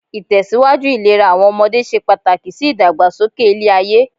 Ìtẹ̀síwájú ìlera àwọn ọmọdé se pàtàkì sí ìdàgbàsókè ilé-ayé.